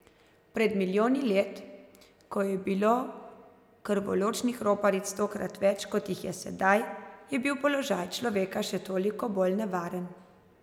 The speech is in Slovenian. Pred milijoni let, ko je bilo krvoločnih roparic stokrat več, kot jih je sedaj, je bil položaj človeka še toliko bolj nevaren.